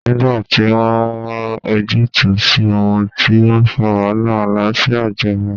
Nígbà tí wọ́n wa ojútùú sí ohun tó ń fa wàhálà, àlàáfíà jọba